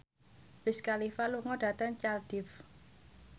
Wiz Khalifa lunga dhateng Cardiff